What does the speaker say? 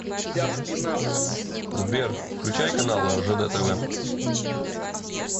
сбер включай каналы ржд тв